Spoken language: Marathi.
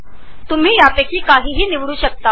तुम्ही काहीही निवडू शकता